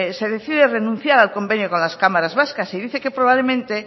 se decide renunciar al convenio con las cámaras vascas y dice que probablemente